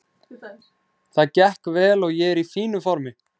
Það gekk vel og ég er í fínu formi.